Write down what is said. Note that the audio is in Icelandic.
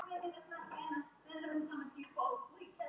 Sophus, hækkaðu í græjunum.